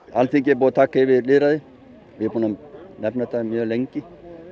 Alþingi er búið að taka yfir lýðræðið ég er búinn að nefna þetta mjög lengi